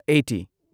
eighty